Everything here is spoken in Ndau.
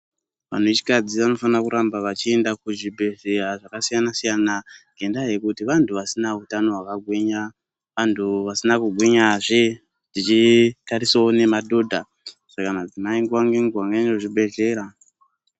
Vanhu vechikadzi vanofana kuramba vachienda kuzvibhehleya zvakasiyana-siyana ngendaa yekuti vantu vasina hutano hwakagwinya. Antu vasina kugwinyazve zvichitarisawo nemadhodha. Saka madzimai nguva ngenguva ngaaende kuzvibhrhlera.